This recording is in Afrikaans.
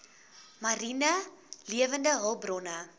mariene lewende hulpbronne